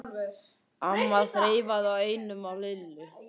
amma þreifaði á enninu á Lillu.